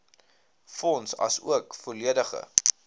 fonds asook volledige